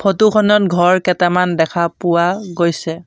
Photo খনত ঘৰ কেটামান দেখা পোৱা গৈছে।